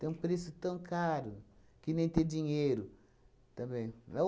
Tem um preço tão caro, que nem ter dinheiro também. É